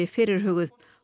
fyrirhuguð